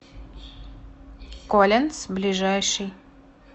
колинз ближайший